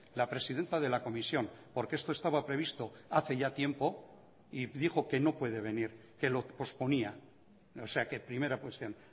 la presidenta de la comisión porque esto estaba previsto hace ya tiempo y dijo que no puede venir que lo posponía o sea que primera cuestión